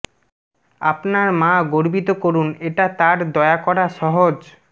আপনার মা গর্বিত করুন এটা তার দয়া করা সহজ